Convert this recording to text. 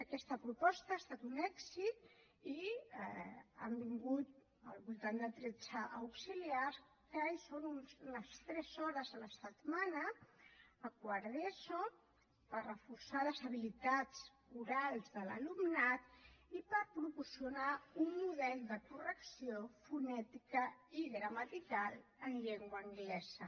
aquesta proposta ha estat un èxit i han vingut al voltant de tretze auxiliars que hi són unes tres hores la setmana a quart d’eso per reforçar les habilitats orals de l’alumnat i per proporcionar un model de correcció fonètica i gramatical en llengua anglesa